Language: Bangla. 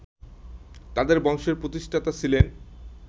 তাদের বংশের প্রতিষ্ঠাতা ছিলেন